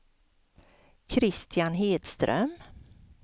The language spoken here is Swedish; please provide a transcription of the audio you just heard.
Christian Hedström